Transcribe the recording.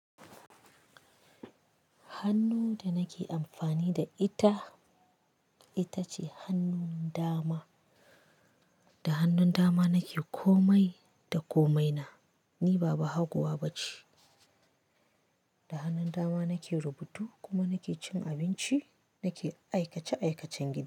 Hannu da nake amfani da ita, ita ce hannun dama. Da hannun dama nake komai da komaina, ni ba bahaguwa bace. Da hannun dama nake rubutu kuma nake cin abinci, nake aikace-aikacen gida.